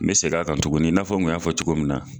N be segin a kan tuguni , in'a fɔ n y'a fɔ cogo min na.